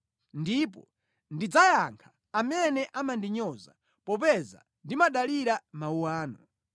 ndipo ndidzayankha amene amandinyoza, popeza ndimadalira mawu anu.